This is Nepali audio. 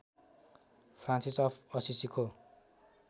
Francis of असिसीको